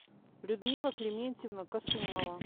людмила климентьевна косумова